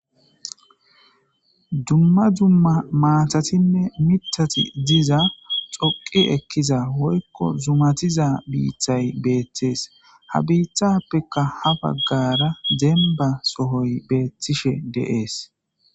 Dumma dumma maatatinne mithati diza dhoqi ekkiza woykko zumatiza biitay beetees. Ha biittazappeka ha baggara demba sohoy beetishe de'es.